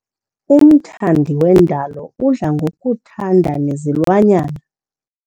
Umthandi wendalo udla ngokuthanda nezilwanyana.